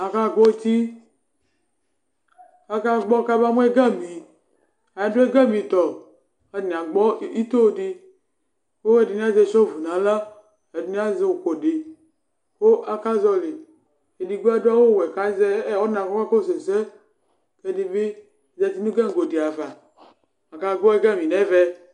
aka gbɔ ʋti aka gbo ka ma mu ɛga mi adu ɛga mi tɔ katani ito di olodini aʒɛ na la ɛdini aʒɛ ukʋ di nalaku akaʒɔli edigbo adu awu wɔɛ ku aʒɛ ɔna ku ɔka kɔsu ɛsɛ ɛdibi ʒati nu gagodi ava aka gbo ɛgami nɛ vu